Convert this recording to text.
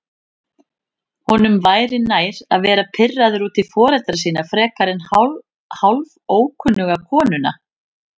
Honum væri nær að vera pirraður út í foreldra sína frekar en hálfókunnuga konuna.